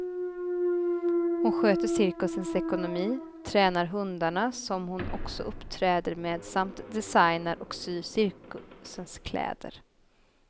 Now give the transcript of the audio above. Hon sköter cirkusens ekonomi, tränar hundarna som hon också uppträder med samt designar och syr cirkusens kläder.